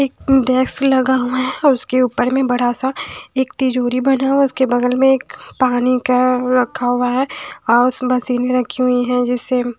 एक डेस्क लगा हुआ है और उसके ऊपर में बड़ा सा एक तिजोरी बना हुआ उसके बगल में एक पानी का रखा हुआ है और उस मशीन रखी हुई हैं जिस से--